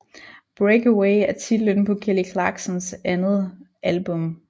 Breakaway er titlen på Kelly Clarksons andet album